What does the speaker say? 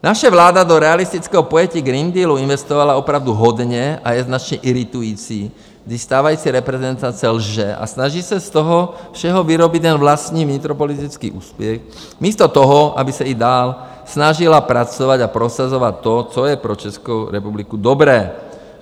Naše vláda do realistického pojetí Green Dealu investovala opravdu hodně a je značně iritující, když stávající reprezentace lže a snaží se z toho všeho vyrobit jen vlastní vnitropolitický úspěch místo toho, aby se i dál snažila pracovat a prosazovat to, co je pro Českou republiku dobré.